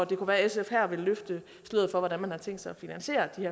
det kunne være at sf her vil løfte sløret for hvordan man har tænkt sig at finansiere den